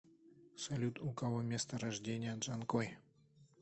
салют у кого место рождения джанкой